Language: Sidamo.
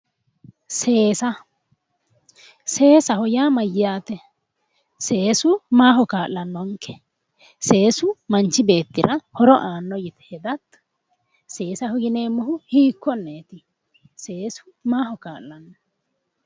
Seesa, seesaho yaa mayyaate? seesu maaho kaa'lannonke? seesu manchi beettira horo aanno yine hedate seesaho yineemmohu hiikkonneeti? seesu maaho kaa'lanno?